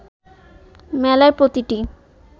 মেলায় প্রতিটি